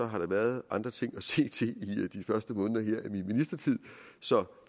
har der været andre ting at se til i de første måneder af min ministertid så